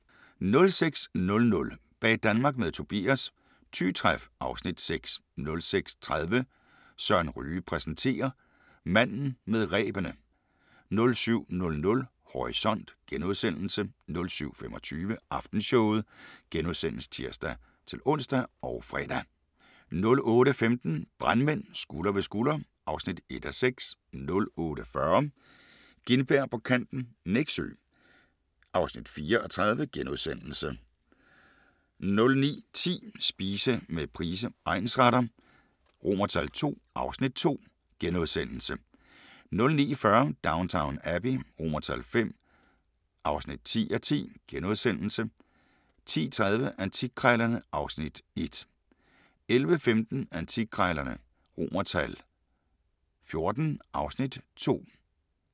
06:00: Bag Danmark med Tobias – Thy Træf (Afs. 6) 06:30: Søren Ryge præsenterer: Manden med rebene 07:00: Horisont * 07:25: Aftenshowet *(tir-ons og fre) 08:15: Brandmænd – Skulder ved skulder (1:6) 08:40: Gintberg på kanten - Nexø (4:30)* 09:10: Spise med Price egnsretter II (Afs. 2)* 09:40: Downton Abbey V (10:10)* 10:30: Antikkrejlerne (Afs. 1) 11:15: Antikkrejlerne XIV (Afs. 2)